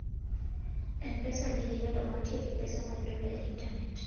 M-Pesa nigi nyalo mar tiyo gi pesa ma yudore e intanet.